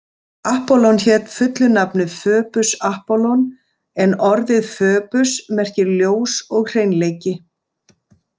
Apollon hét fullu nafni „Föbus Apollon“ en orðið Föbus merkir ljós og hreinleiki.